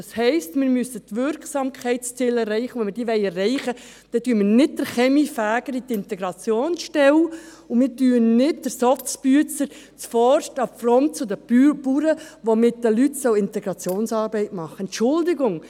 Das heisst, wir müssen die Wirksamkeitsziele erreichen, und wenn wir diese erreichen wollen, schicken wir nicht den Kaminfeger in die Integrationsstelle und nicht den «Soz-Büezer» zuvorderst an die Front zu den Bauern, die mit den Leuten Integrationsarbeit machen sollen.